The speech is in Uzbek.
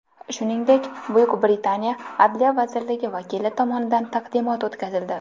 Shuningdek, Buyuk Britaniya Adliya vazirligi vakili tomonidan taqdimot o‘tkazildi.